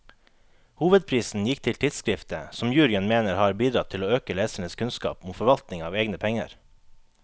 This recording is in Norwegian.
Hovedprisen gikk til tidskriftet, som juryen mener har bidratt til å øke lesernes kunnskap om forvaltning av egne penger.